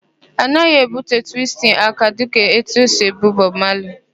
A naghị èbúte twistin aka dịka etu esi èbú Bọb Mali.